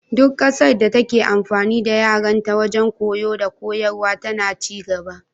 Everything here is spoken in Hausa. Duk ƙasar da take amfani da yarenta wajen koyo dakoyarwa tana ci gaba.